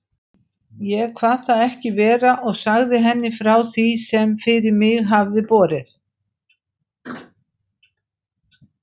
Ég kvað það ekki vera og sagði henni frá því, sem fyrir mig hafði borið.